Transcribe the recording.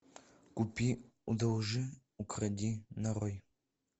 купи одолжи укради нарой